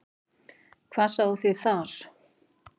Hvað sáuð þið þar?